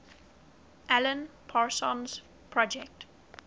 alan parsons project